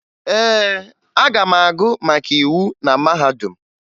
Ee, aga m agụ maka íwú na mahadum